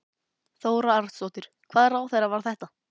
Þóra Arnórsdóttir: Hvaða ráðherra var þetta?